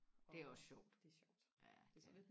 det er også sjovt ja